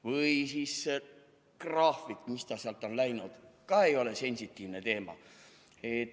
Või siis graafik – ka ei ole sensitiivne teema.